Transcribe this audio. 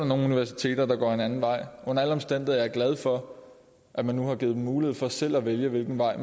nogle universiteter der går en anden vej under alle omstændigheder er jeg glad for at man nu har givet dem mulighed for selv at vælge hvilken vej